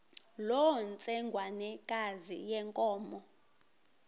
loo ntsengwanekazi yenkomo